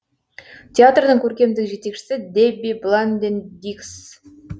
театрдың көркемдік жетекшісі дебби бланден диггс